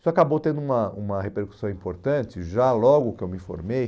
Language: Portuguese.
Isso acabou tendo uma uma repercussão importante, já logo que eu me formei,